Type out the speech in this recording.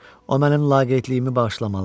O mənim laqeydliyimi bağışlamalıdır.